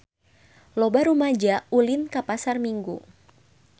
Loba rumaja ulin ka Pasar Minggu